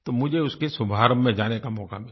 तो मुझे उसके शुभारम्भ में जाने का मौका मिला